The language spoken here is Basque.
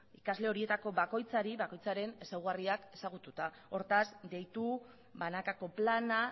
ikasle horietako bakoitzari bakoitzaren ezaugarriak ezagututa hortaz deitu banakako plana